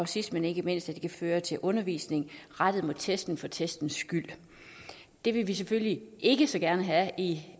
sidst men ikke mindst kan føre til undervisning rettet mod testene for testens egen skyld det vil vi selvfølgelig ikke så gerne have i